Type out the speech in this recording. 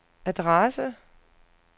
adresse